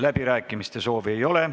Läbirääkimiste soovi ei ole.